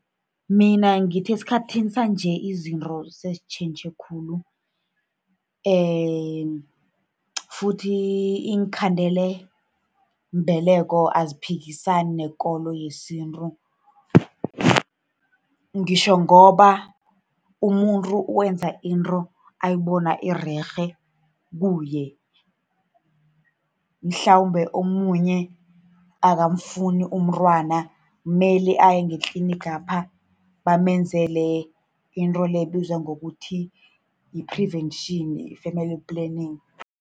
Mina ngithi esikhathini sanje, izinto sezitjhentjhe khulu futhi iinkhandelambeleko aziphikisani nekolo yesintu. Ngitjho ngoba umuntu wenza into ayibona irerhe kuye. Mhlambe omunye akamfuni umntwana, mele aye ngetlinigapha, bamenzele into le ebizwa ngokuthi yi-prevention, i-family planning.